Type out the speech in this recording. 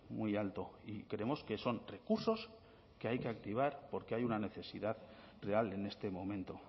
muy alto y creemos que son recursos que hay que activar porque hay una necesidad real en este momento